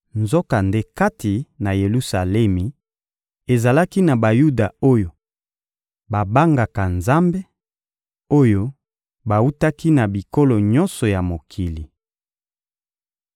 Nzokande, kati na Yelusalemi, ezalaki na Bayuda oyo babangaka Nzambe, oyo bawutaki na bikolo nyonso ya mokili.